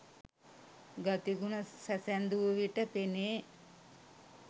ගති ගුණ සැසැඳූ විට පෙනේ